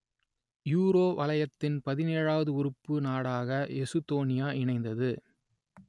euro வலயத்தின் பதினேழுவது உறுப்பு நாடாக எசுத்தோனியா இணைந்தது